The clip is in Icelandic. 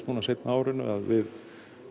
seinna á árinu að við